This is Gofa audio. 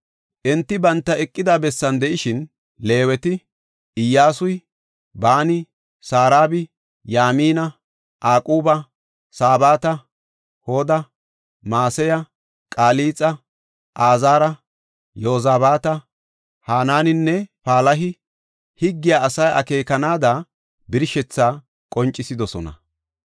Enti banta eqida bessan de7ishin, Leeweti, Iyyasuy, Baani, Saraba, Yamina, Aquba, Sabata, Hoda, Maseya, Qalixa, Azaara, Yozabaata, Hananinne Palahi higgiya asay akeekanaada birshethaa qoncisidosona.